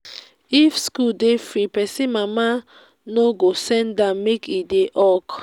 if school dey free pesin mama no go send am make e dey hawk.